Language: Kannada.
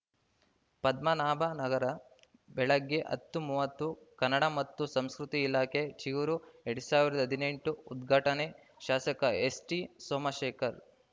ಪದ್ಮನಾಭನಗರ ಬೆಳಗ್ಗೆ ಹತ್ತು ಮೂವತ್ತು ಕನ್ನಡ ಮತ್ತು ಸಂಸ್ಕೃತಿ ಇಲಾಖೆ ಚಿಗುರು ಎರಡ್ ಸಾವಿರದ ಹದಿನೆಂಟು ಉದ್ಘಾಟನೆ ಶಾಸಕ ಎಸ್‌ಟಿಸೋಮಶೇಖರ್‌